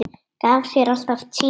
Gaf sér alltaf tíma.